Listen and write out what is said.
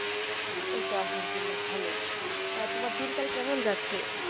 এই তো আল্হামদুলিল্লাহ ভালো তা তোমার দিনকাল কেমন যাচ্ছে?